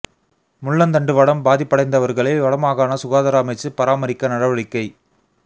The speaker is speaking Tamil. முள்ளந்தண்டு வடம் பாதிப்படைந்தவர்களை வட மாகாண சுகாதார அமைச்சு பராமரிக்க நடவடிக்கை